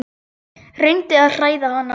Reyndi að hræða hann.